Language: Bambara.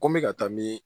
Ko n bɛ ka taa min